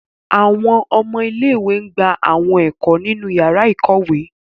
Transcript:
Awọn ọmọ ìlé-ìwé gba awọn ẹko ninu yara ikowe